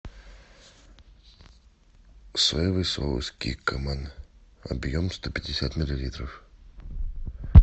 соевый соус киккоман объем сто пятьдесят миллилитров